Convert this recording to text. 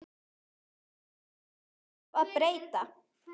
Hversu litlu þarf að breyta?